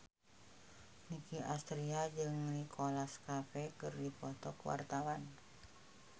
Nicky Astria jeung Nicholas Cafe keur dipoto ku wartawan